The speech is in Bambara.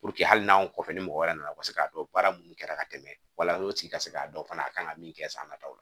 Puruke hali n'anw kɔfɛ ni mɔgɔ wɛrɛ nana u ka se k'a dɔn baara minnu kɛra ka tɛmɛ wala o tigi ka se k'a dɔn fana a kan ka min kɛ san nataw la